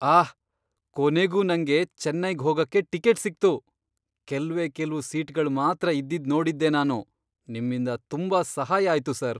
ಆಹ್! ಕೊನೆಗೂ ನಂಗೆ ಚೆನ್ನೈಗ್ ಹೋಗಕ್ಕೆ ಟಿಕೆಟ್ ಸಿಕ್ತು. ಕೆಲ್ವೇ ಕೆಲ್ವು ಸೀಟ್ಗಳ್ ಮಾತ್ರ ಇದ್ದಿದ್ ನೋಡಿದ್ದೆ ನಾನು. ನಿಮ್ಮಿಂದ ತುಂಬಾ ಸಹಾಯ ಆಯ್ತು ಸರ್.